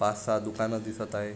पाच सहा दुकान दिसत आहे.